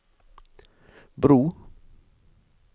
bro